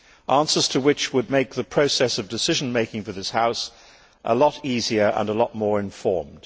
Answers to them would make the process of decision making for this House a lot easier and a lot more informed.